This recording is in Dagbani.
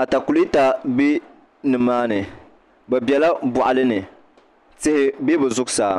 atakulɛta bɛ nimaani bi biɛla boɣali ni tihi bɛ bi zuɣusaa